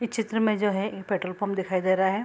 इस चित्र में जो है ए पेट्रोल पंप दिखाई दे रहा है।